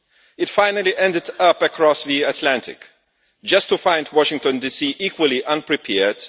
It finally ended up across the Atlantic, just to find Washington DC equally unprepared.